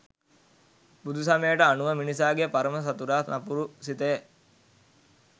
බුදුසමයට අනුව මිනිසාගේ පරම සතුරා නපුරු සිතය